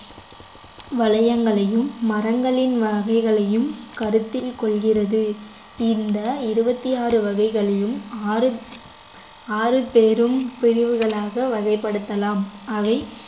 வளையங்களையும் மரங்களின் வகைகளையும் கருத்தில் கொள்கிறது இந்த இருபத்தி ஆறு வகைகளையும் ஆறு ஆறு பெரும் பிரிவுகளாக வகைப்படுத்தலாம் அவை